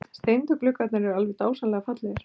Steindu gluggarnir eru alveg dásamlega fallegir!